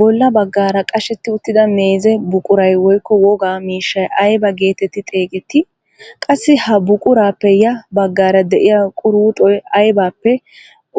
Bolla baggaara qashetti uttida meeze buquray woykko woga mishshay aybaa getetti xeegettii? Qassi ha buquraappe ya baggaara de'iyaa quruxoy aybappe